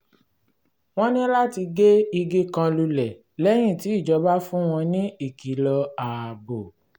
wọ́n ní láti gé igi kan lulẹ̀ lẹ́yìn tí ìjọba fún wọn ní ìkìlọ̀ ààbò